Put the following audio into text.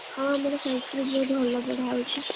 ହଁ ଆମର Sanskrit ବହୁତ୍ ଭଲ ପଢାହଉଛି।